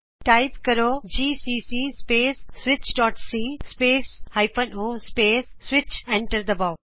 type ਕਰੋ GCC space switchਸੀ space -o space switch enter ਦਬਾਉ